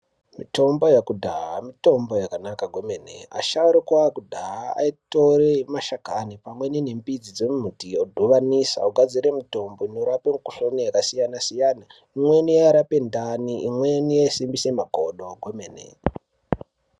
Mitombo yekudhaya mitombo yakanaka kwemene asharukwa ekudhaha aitore mashakani pamwe nemidzi dzemiti odhovanisa ogadzire mitombo inorapa mukuhlani yakasiyana siyana imweni yairape ndani imweni yaisimbisa makodo kwemene.